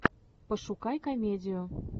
пошукай комедию